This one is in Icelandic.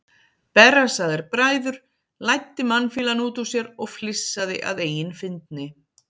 Berrassaðir bræður, læddi mannfýlan út úr sér og flissaði að eigin fyndni.